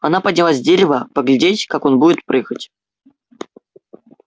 она поднялась с дерева поглядеть как он будет прыгать